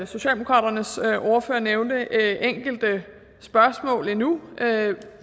socialdemokratiets ordfører nævnte enkelte spørgsmål endnu